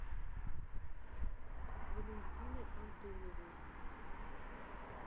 валентины антоновой